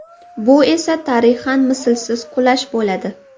Bu esa tarixan mislsiz qulash bo‘ladi!